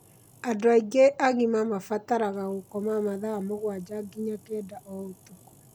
Andũ aingĩ agima mabataraga gũkoma mathaa mũgwanja nginya kenda o ũtukũ.